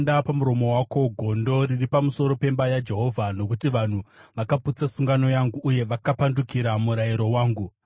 “Isa hwamanda pamuromo wako! Gondo riri pamusoro pemba yaJehovha nokuti vanhu vakaputsa sungano yangu uye vakapandukira murayiro wangu.